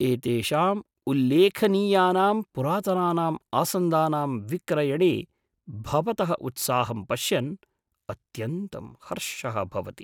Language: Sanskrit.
एतेषां उल्लेखनीयानां पुरातनानां आसन्दानां विक्रयणे भवतः उत्साहम् पश्यन् अत्यन्तं हर्षः भवति।